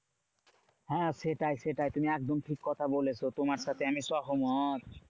হ্যাঁ সেটাই সেটাই তুমি একদম ঠিক কথা বলেছো। তোমার সাথে আমি সহমত।